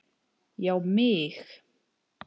Já mig!